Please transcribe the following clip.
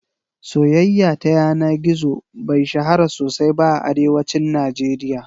Soyaya ta yana gizo bai shahara sosai ba a Arewacin Najeriya